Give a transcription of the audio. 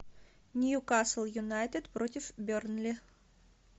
ньюкасл юнайтед против бернли